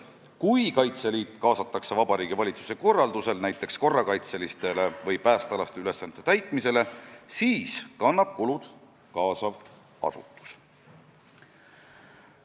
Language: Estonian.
Kui Kaitseliit kaasatakse Vabariigi Valitsuse korraldusel näiteks korrakaitseliste või päästeülesannete täitmisele, siis kannab kulud kaasav asutus.